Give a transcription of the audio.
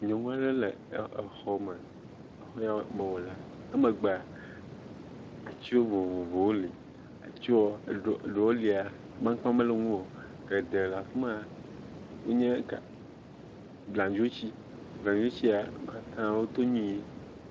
Nyɔnu aɖe le xɔme. Xɔ ya me wolea, emegbea, ati vovovowo li, atiwo, ɖewo lia, amaŋkpa mele ŋu o. Geɖe la afi ma, wonye ŋka, abladzoti. Bladzotia, wo katã woto nyuie.